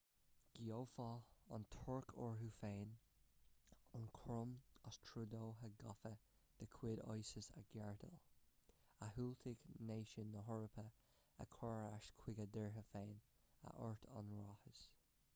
ghabhfadh an tuirc uirthi féin an cúram as trodaithe gafa de chuid isis a ghardáil a dhiúltaigh náisiúin na heorpa a chur ar ais chuig a dtíortha féin a dúirt an ráiteas